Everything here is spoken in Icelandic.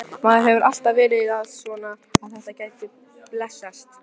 Maður hefur alltaf verið að vona að þetta gæti blessast.